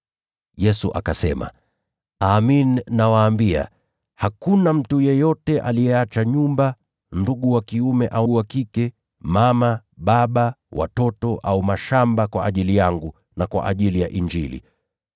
Yesu akasema, “Amin, nawaambia, hakuna mtu yeyote aliyeacha nyumba, ndugu wa kiume au wa kike, au mama au baba, au watoto au mashamba kwa ajili yangu na kwa ajili ya Injili,